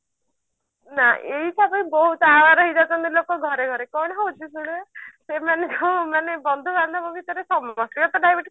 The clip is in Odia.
ନା ଏଇଟା ପାଇଁ ବହୁତ aware ହେଇଯାଉଛନ୍ତି ଲୋକ ଘରେ ଘରେ କଣ ହଉଛି ଶୁଣ ସେମାନେ ବନ୍ଧୁ ବାନ୍ଧବ ଭିତରେ ସମସ୍ତେ ଙ୍କର ତ diabetes